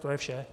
To je vše.